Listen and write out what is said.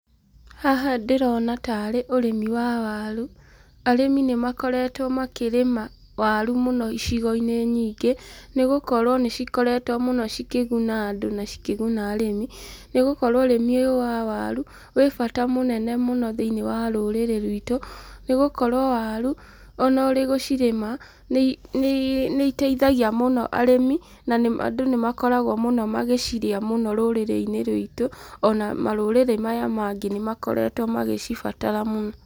Haha ndĩrona tarĩ ũrĩmi wa waru. Arĩmi nĩ makoretwo makĩrĩma waru mũno icigo-inĩ nyingĩ, nĩ gũkorwo nĩ cikoretwo mũno cikĩguna andũ, na cikĩguna arĩmi, nĩgũkorwo ũrĩmi ũyũ wa waru wĩbata mũno thĩinĩ wa rũrĩrĩ rwitũ. Nĩgũkorwo warũ ona ũgũcirĩma nĩ iteithagia mũno arĩmi na andũ nĩ makoragwo magĩcirĩa mũno rũrĩrĩ-inĩ rũitũ, ona marũrĩrĩ maya mangĩ nĩ makoretwo magĩcibatara mũno.